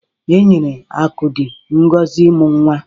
E nyere Akudi ngozi imu nwa.